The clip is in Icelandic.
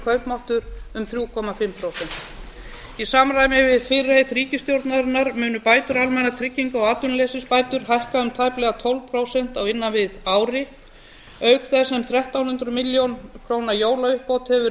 kaupmáttur um þrjú og hálft prósent í samræmi við fyrirheit ríkisstjórnarinnar munu bætur almannatrygginga og atvinnuleysisbætur hækka um tæplega tólf prósent á innan við ári auk þess sem þrettán hundruð milljóna króna jólauppbót hefur verið